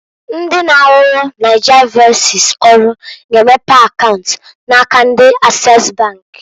Ndi na-arụrụ Nigervoices ọrụ g'emepe akaunt na aka ndi Access bank.